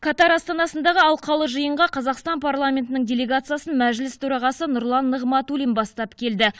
катар астанасындағы алқалы жиынға қазақстан парламентінің делегациясын мәжіліс төрағасы нұрлан нығматулин бастап келді